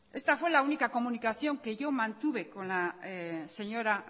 esta fue la única comunicación que yo mantuve con la señora